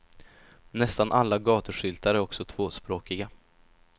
Nästan alla gatuskyltar är också tvåspråkiga.